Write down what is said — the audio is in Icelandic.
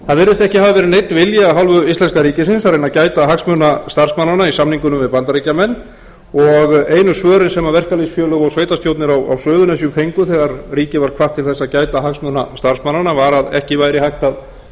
það virðist ekki hafa verið neinn vilji af hálfu íslenska ríkisins að reyna að gæta hagsmuna starfsmannanna í samningunum við bandaríkjamenn og einu svörin sem verkalýðsfélög og sveitarstjórnir á suðurnesjum fengu þegar ríkið var hvatt til þess að gæta hagsmuna starfsmannanna var að ekki væri hægt að